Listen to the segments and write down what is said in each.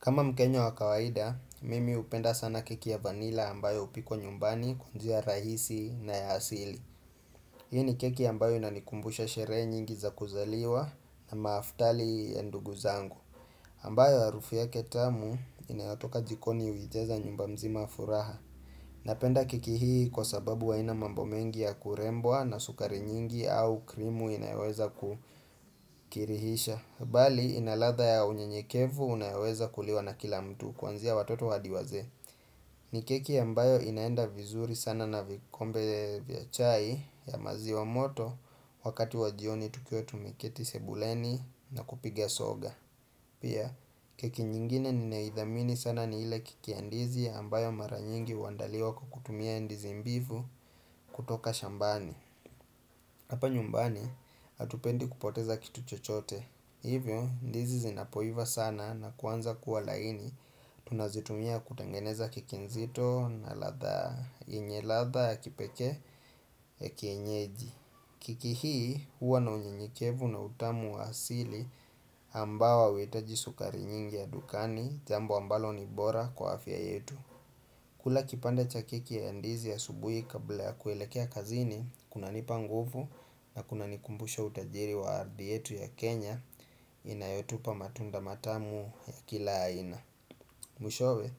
Kama mkenya wa kawaida, mimi hupenda sana keki ya vanila ambayo hupikwa nyumbani kwa njia rahisi na ya hasili. Hii ni keki ambayo inanikumbusha sherehe nyingi za kuzaliwa na maaftali ya ndugu zangu. Ambayo harufu yake tamu inayotoka jikoni hujaza nyumba mzima furaha. Napenda keki hii kwa sababu haina mambo mengi ya kurembwa na sukari nyingi au krimu inayoweza kukirihisha. Bali inaladha ya unyenyekevu unayoweza kuliwa na kila mtu kuanzia watoto hadi wazee ni keki ambayo inaenda vizuri sana na vikombe vya chai ya maziwa moto wakati wa jioni tukiwa tumeketi sebuleni na kupiga soga Pia keki nyingine ninayoithamini sana ni ile keki ya ndizi ambayo mara nyingi huandaliwa kwa kukutumia ndizi mbivu kutoka shambani Hapa nyumbani hatupendi kupoteza kitu chochote Hivyo ndizi zinapoiva sana na kuanza kuwa laini tunazitumia kutengeneza keki nzito na ladha yenye ladha ya kipekee ya kienyeji keki hii huwa na unyenyekevu na utamu wa asili ambao hauhitaji sukari nyingi ya dukani jambo ambalo ni bora kwa afya yetu kula kipande cha keki ya ndizi asubuhi kabla ya kuelekea kazini, kunanipa nguvu na kunanikumbusha utajiri wa ardhi yetu ya Kenya inayotupa matunda matamu ya kila aina. Mwishowe,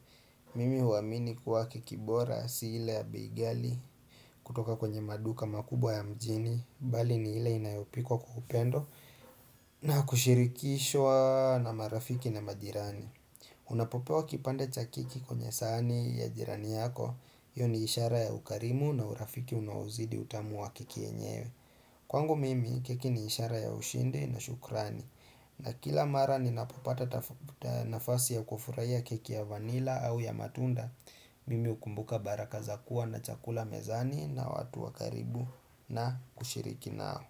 mimi huamini kuwa keki bora si ile ya bei ghali kutoka kwenye maduka makubwa ya mjini, bali ni ile inayopikwa kwa upendo na kushirikishwa na marafiki na majirani. Unapopewa kipande cha keki kwenye sahani ya jirani yako hio ni ishara ya ukarimu na urafiki unaozidi utamu wa keki enyewe Kwangu mimi keki ni ishara ya ushindi na shukrani na kila mara ninapopata nafasi ya kufurahia keki ya vanila au ya matunda Mimi hukumbuka baraka za kuwa na chakula mezani na watu wa karibu na kushiriki nao.